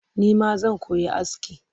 Nima zan koyi aski